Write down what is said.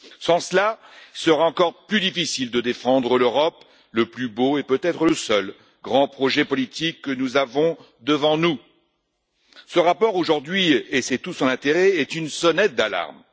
Sans cela, il sera encore plus difficile de défendre l'Europe, le plus beau et peut être le seul grand projet politique que nous avons devant nous. Ce rapport, aujourd'hui c'est tout son intérêt est une sonnette d'alarme.